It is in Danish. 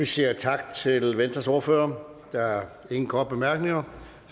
vi siger tak til venstres ordfører der er ingen korte bemærkninger